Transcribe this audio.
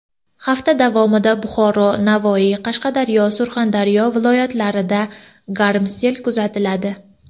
Hafta davomida Buxoro, Navoiy, Qashqadaryo, Surxondaryo viloyatlarida garmsel kuzatiladi.